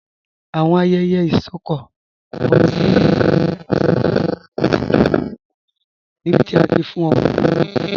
Awọn ayẹyẹ isọkọ ọmọde ni Nàìjíríà jẹ awọn iṣẹlẹ aṣa pátàkì níbití a ti fún ọmọ ni orúkọ.